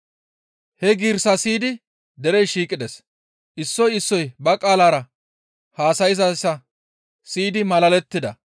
He giirissaa siyidi derey shiiqides; issoy issoy ba qaalara haasayzayssa siyidi malalettida.